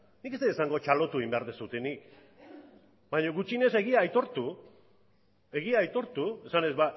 nik ez dut esango txalotu egin behar duzuenik baina gutxienez egia aitortu esanez